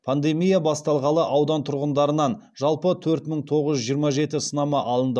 пандемия басталғалы аудан тұрғындарынан жалпы төрт мың тоғыз жүз жиырма жеті сынама алынды